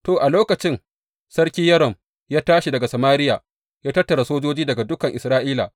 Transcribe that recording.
To, a lokacin, Sarki Yoram ya tashi daga Samariya, ya tattara sojoji daga dukan Isra’ila.